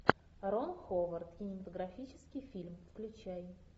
рон ховард кинематографический фильм включай